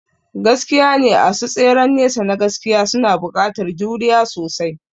Gaskiyane, asu tseren nesa na gaskiya suna buƙatar juriya sosai.